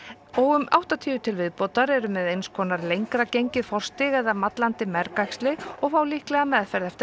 og um áttatíu til viðbótar eru með eins konar lengri gengið forstig eða mallandi mergæxli og fá líklega meðferð eftir